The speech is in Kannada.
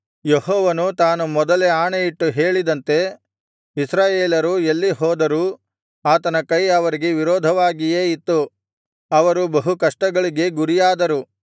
ಯೆಹೋವನು ತಾನು ಮೊದಲೇ ಆಣೆಯಿಟ್ಟು ಹೇಳಿದಂತೆ ಇಸ್ರಾಯೇಲರು ಎಲ್ಲಿ ಹೋದರೂ ಆತನ ಕೈ ಅವರಿಗೆ ವಿರೋಧವಾಗಿಯೇ ಇತ್ತು ಅವರು ಬಹು ಕಷ್ಟಗಳಿಗೆ ಗುರಿಯಾದರು